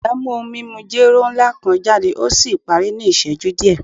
Iya mu ohun mimu jero nla kan jade o si pari ni iṣẹju diẹ